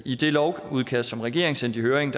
i det lovudkast som regeringen sendte i høring